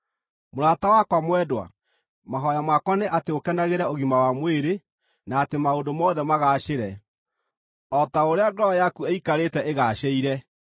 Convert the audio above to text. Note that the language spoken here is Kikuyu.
Mũrata wakwa mwendwa, mahooya makwa nĩ atĩ ũkenagĩre ũgima wa mwĩrĩ, na atĩ maũndũ mothe magaacĩre, o ta ũrĩa ngoro yaku ĩikarĩte ĩgaacĩire.